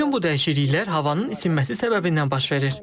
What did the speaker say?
Bütün bu dəyişikliklər havanın isinməsi səbəbindən baş verir.